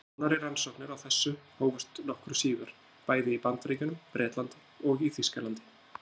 Nánari rannsóknir á þessu hófust nokkru síðar, bæði í Bandaríkjunum, Bretlandi og í Þýskalandi.